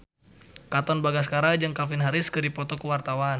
Katon Bagaskara jeung Calvin Harris keur dipoto ku wartawan